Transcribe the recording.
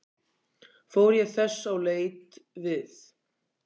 Fór ég þess á leit við